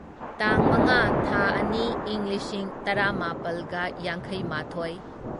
ꯇꯥꯡ ꯃꯉꯥ ꯊꯥ ꯑꯅꯤ ꯢꯪ ꯂꯤꯁꯤꯡ ꯇꯔꯥꯃꯥꯄꯜꯒ ꯌꯥꯡꯈꯩꯃꯥꯊꯣꯢ